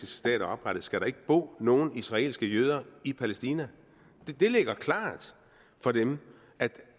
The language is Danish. stat er oprettet skal der ikke bo nogen israelske jøder i palæstina det ligger klart for dem